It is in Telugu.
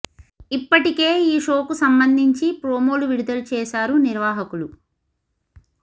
ఇప్పటికే ఈ షో కు సంబంధించి ప్రోమోలు విడుదల చేశారు నిర్వాహకులు